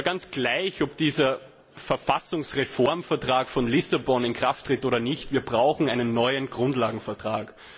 Ganz gleich, ob dieser Verfassungsreformvertrag von Lissabon in Kraft tritt oder nicht, wir brauchen einen neuen Grundlagenvertrag.